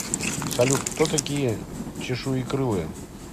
салют кто такие чешуекрылые